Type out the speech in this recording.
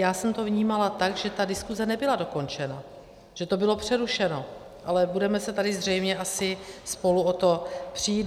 Já jsem to vnímala tak, že ta diskuse nebyla dokončena, že to bylo přerušeno, ale budeme se tady zřejmě asi spolu o to přít.